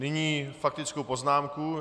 Nyní faktickou poznámku.